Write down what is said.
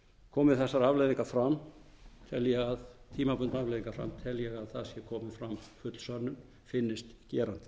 komi þessar tímabundnu afleiðingar fram tel ég að það sé komin fram full sönnun finnist gerandinn